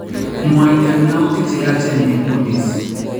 Mwaiten yautik cheyachen en police